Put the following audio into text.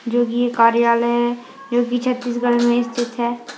जो कि ये कार्यालय है जो कि छत्तीसगढ़ में स्थित है।